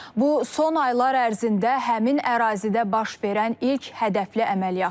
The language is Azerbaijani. Bu son aylar ərzində həmin ərazidə baş verən ilk hədəfli əməliyyatdır.